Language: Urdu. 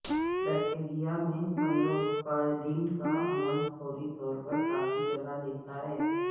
بیکٹیریا میں پنروتپادن کا عمل فوری طور پر کافی جگہ لیتا ہے